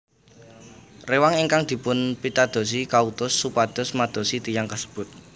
Rewang ingkang dipunpitadosi kautus supados madosi tiyang kasebut